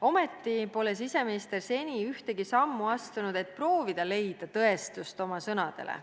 Ometi pole siseminister seni ühtegi sammu astunud, et proovida leida tõestust oma sõnadele.